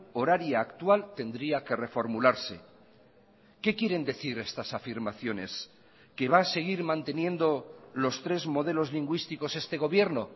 horaria actual tendría que reformularse qué quieren decir estas afirmaciones que va a seguir manteniendo los tres modelos lingüísticos este gobierno